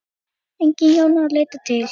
Engin Jóna að leita til.